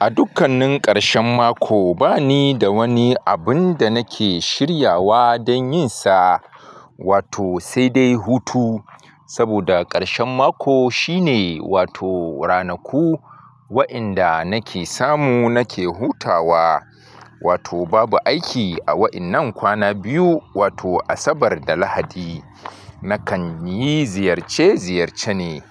A dukkanin karshen mako bani da wani abun da nake shiryawa dan yin sa wato saidai hutu saboda karshen mako shine wato ranaku wa'yenda nake samu nake hutawa wato babu aiki a wa'yennan kwana biyu wato Asabar da Lahadi. Nakan yi ziyarce ziyarce ne,